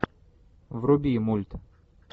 вруби мульт